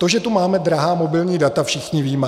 To, že tu máme drahá mobilní data, všichni víme.